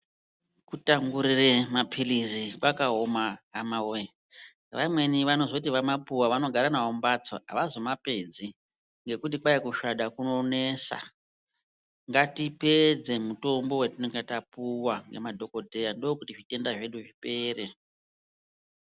Kutangurire maphirizi kwakaoma hamawee, vamwebi vanoti vamapuwa vanogara nawo mumhatso avazomapedzi ngekuti kwai kusvada kunonesa. Ngatipedze mutombo watingenge tapiwa nemadhokodheya ndokuti zvitenda zvipere.